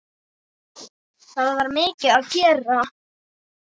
Það var mikið að gera.